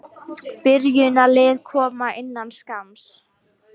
Byrjunarlið koma innan skamms.